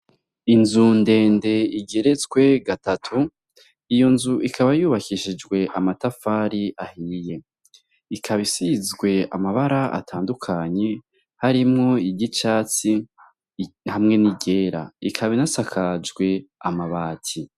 Inzu ndende igeretswe gatatu, iyo nzu ikaba yubakishijwe amatafari ahiye, ikaba isizwe amabara atandukanye harimwo iry'icatsi hamwe n'iryera, ikaba inasakajwe amabati.